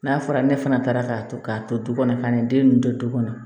N'a fɔra ne fana taara k'a to k'a to du kɔnɔ ka n'i den ninnu to du kɔnɔ